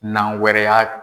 Nan wɛrɛ y'a